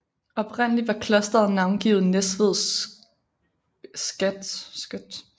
Oprindelig var klosteret navngivet Næstved Sct